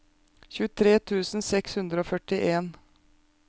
tjuetre tusen seks hundre og førtien